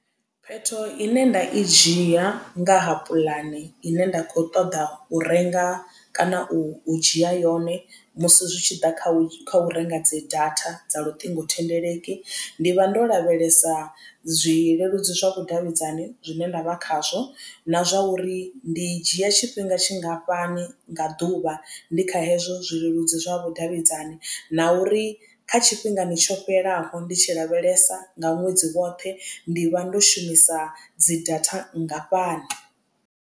Phetho ine nda i dzhia nga ha puḽane ine nda kho ṱoḓa u renga kana u dzhia yone musi zwi tshi ḓa kha u renga dzi data dza luṱingothendeleki ndi vha ndo lavhelesa zwileludzi zwa vhudavhidzani zwine nda vha khazwo na zwa uri ndi dzhia tshifhinga tshingafhani nga ḓuvha ndi kha hezwo zwileludzi zwa vhudavhidzani na uri kha tshifhingani tsho fhelaho ndi tshi lavhelesa nga ṅwedzi woṱhe ndi vha ndo shumisa dzi data nngafhani.